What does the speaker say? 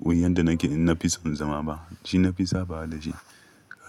wanda nake ina fi son zama ma. Shi na fi sabawa da shi.